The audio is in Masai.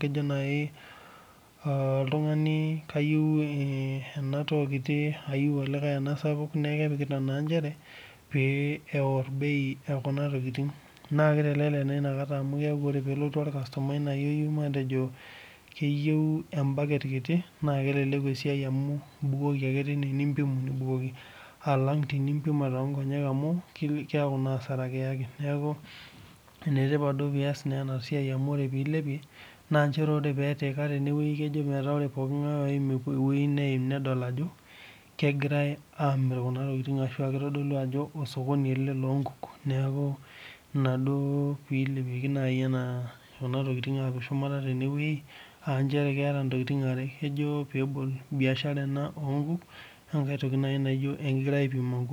kejo naaji oltung'ani kayieu enatoo kitii neyieu olikae ena sapuk neeku kepikita naa njere pee eor bei ekuna tokitin naa kitelelek naa enakataa amu ore pelotu orkastomai matejo ketiu ebaket kiti naa keleleku esiai amu ebukoki ake time amu empimu ake nibukoki alang teni mpima too Nkonyek amu keeku naa asara naa enetipat naa pee eyas pilepie naa ore pee etika tene wueji naa kejo peeku ore oltung'ani oyim nedol Ajo kegirai amir ashu kitodolu Ajo osokoni ele loo nkuk neeku enaduo pilepikie Kuna tokitin apik shuma tene wueji aa njere keeta ntokitin are Kuna kejo peebol biashara ena ena enkuk naa enkae toki naijio ekegirai aipim nkuuk